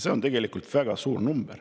See on tegelikult väga suur arv.